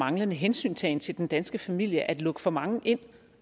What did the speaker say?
manglende hensyntagen til den danske familie at lukke for mange ind